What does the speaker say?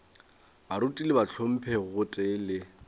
baruti le bahlomphegi gotee le